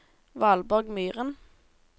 Valborg Myhren